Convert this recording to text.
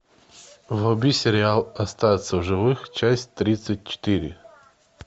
вруби сериал остаться в живых часть тридцать четыре